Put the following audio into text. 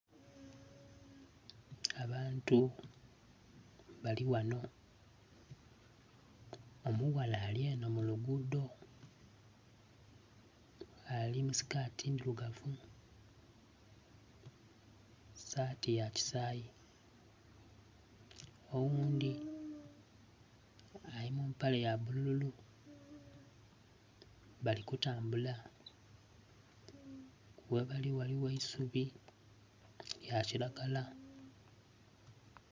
Abantu balighanho omughala alyenho mulugudo alimusikati ndhilugavu sati yakyisayi oghundhi alimumpale yabululu balikutambula ghebali ghaligho eisubi lyakyiragala